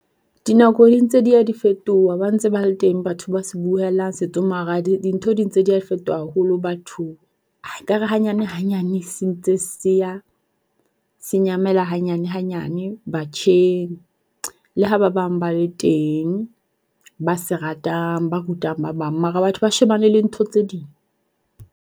Dinako di ntse dia di fetoha ba ntse ba le teng batho ba se buellang dintho di ntse dia di fetoha haholo bathong. Ekare hanyane hanyane se ntse se ya se nyamela hanyane hanyane batjheng. Le ha ba bang ba le teng ba se ratang ba rutang ba bang. Mara batho ba shebane le ntho tse ding.